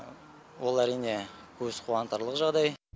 ол әрине көз қуантарлық жағдай